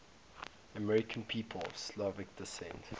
american people of slovak descent